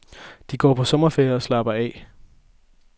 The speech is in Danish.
De går på sommerferie og slapper af.